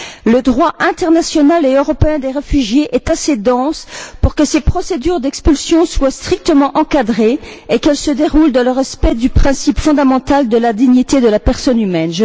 Le droit international et européen des réfugiés est assez dense pour que ces procédures d'expulsion soient strictement encadrées et qu'elles se déroulent dans le respect du principe fondamental de la dignité de la personne humaine.